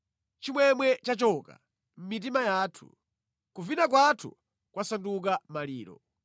Chimwemwe chachoka mʼmitima yathu; kuvina kwathu kwasanduka maliro.